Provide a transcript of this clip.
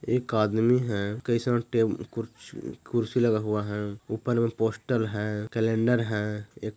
एक आदमी है कई सारे कु-- कुर्सी लगा हुआ है ऊपर में पोस्टर है क्लैंडर है एक--